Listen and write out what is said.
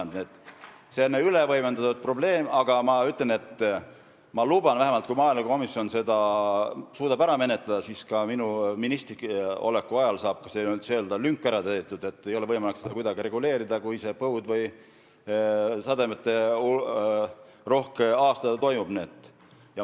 Nii et see on ülevõimendatud probleem, aga ma luban vähemalt, et kui maaelukomisjon suudab eelnõu ära menetleda, siis minu ministriks oleku ajal saab ka see lünk täidetud, et ei ole võimalik kuidagi reguleerida seda, kui on põud või sademeterohke aasta.